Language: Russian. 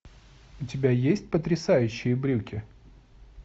у тебя есть потрясающие брюки